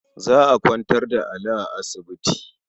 Za a kwantar da Ali a asibiti.